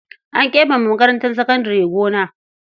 An keɓe wa makarantar sakandare gona.